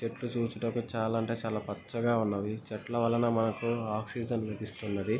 చెట్లు చూడుటకు చాలా అంటే చాలా పచ్చగా ఉన్నవి. చెట్లు వల్ల మనకు ఆక్సిజన్ లభిస్తున్నది.